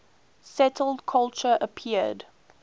settled culture appeared